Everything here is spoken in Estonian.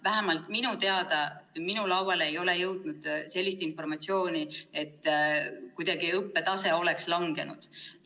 Vähemalt minuni ei ole jõudnud sellist informatsiooni, et õppetase oleks kuidagi langenud.